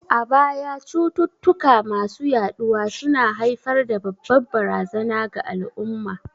A baya, cututtuka masu yaɗuwa su na haifar da babbar barazana ga al'umma.